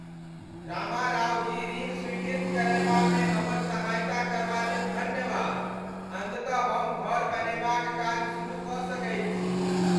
रामारावजी ऋण स्वीकृत करयबामे हमर सहायता करबा लेल धन्यवाद। अन्ततः हम घर बनयबाक काज सुरुह कऽ सकैत छी।